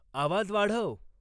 आवाज वाढव